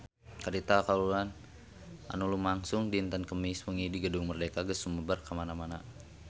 Carita kahuruan anu lumangsung dinten Kemis wengi di Gedung Merdeka geus sumebar kamana-mana